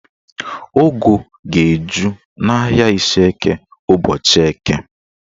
Ụgụ ga-eju n'ahịa Ishieke ụbọchị Eke